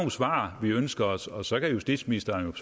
svar vi ønsker os og så kan justitsministeren